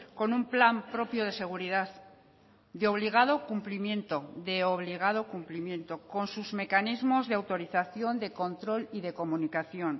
con un plan propio de seguridad de obligado cumplimiento de obligado cumplimiento con sus mecanismos de autorización de control y de comunicación